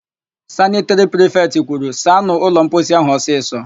Sanịtịrị prifetị kwuru, "saanụ ụlọmposi áhụ̀ ọsịsọ"!